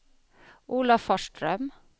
Olafström